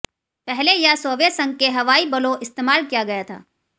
पहले यह सोवियत संघ के हवाई बलों इस्तेमाल किया गया था